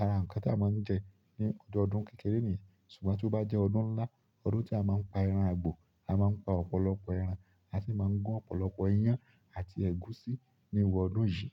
ara nǹkan tí a máa ń jẹ ní ọdọdún kékeré ni, ṣùgbọ́n tí ó bá jẹ́ ọdún ńlá, ọdún tí a máa ń pa ẹran àgbò, a máa ń pa ọ̀pọ̀lọpọ̀ ẹran àti máa ń gún ọ̀pọ̀lọpọ̀ iyán àti ẹ̀gúsí ní ìru ọdún yìí.